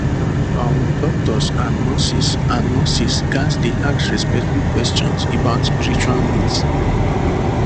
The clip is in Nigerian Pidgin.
ah um doctors and nurses and nurses ghats dey ask respectful questions about spiritual needs